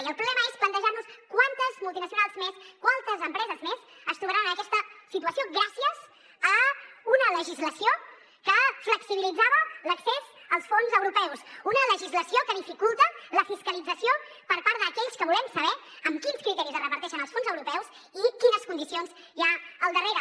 i el problema és plantejar nos quantes multinacionals més quantes empreses més es trobaran en aquesta situació gràcies a una legislació que flexibilitzava l’accés als fons europeus una legislació que dificulta la fiscalització per part d’aquells que volem saber amb quins criteris es reparteixen els fons europeus i quines condicions hi ha al darrere